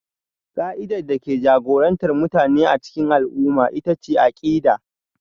Ƙa'idar da ke jagorantar mutane a cikin al'umma ita ce akida